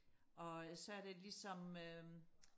og øh så er der ligesom øhm